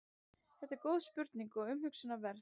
þetta er góð spurning og umhugsunarverð